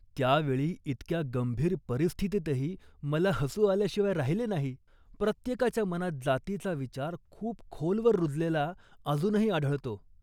त्या वेळी, इतक्या गंभीर परिस्थितीतही, मला हसू आल्याशिवाय राहिले नाही. प्रत्येकाच्या मनात जातीचा विचार खूप खोलवर रुजलेला अजूनही आढळतो